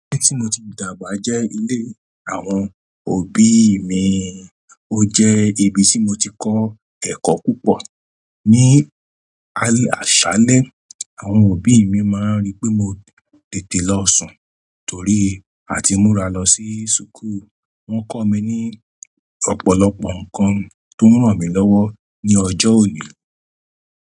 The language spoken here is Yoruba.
Ibi tí mo ti dàgbà jẹ́ ilé àwọn òbí mi. Ó jẹ́ ibi tí mo ti kọ́ ẹ̀kọ́ púpọ̀. Ní àṣálẹ́, àwọn òbí má ń rí pé, mo tètè lọ sùn, torí àti múra lọ o sì ṣùkú u wọn kọ́ mi ní ọ̀pọ̀lọpọ̀ nǹkan tó ranmilowo ní ọjọ́ òní.